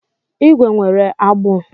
ígwè nwere agbụ.